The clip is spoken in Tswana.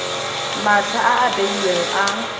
matlha a a beilweng a